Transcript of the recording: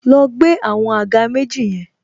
Lọ gbé àwọn àga méjì yẹn